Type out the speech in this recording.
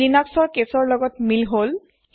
ই Linus ৰ কেছৰ লগত মিল হল